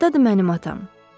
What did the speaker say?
Hardadır mənim atam?